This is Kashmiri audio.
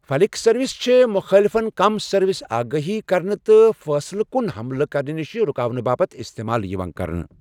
فلِک سٔروسِ چھِ مُخٲلۍفَن کم سروٕچ آگٲہی کرنہٕ تہٕ فٲصلہٕ کُن حملہٕ کرنہٕ نِش رُکاونہٕ باپتھ استعمال یِوان کرنہٕ۔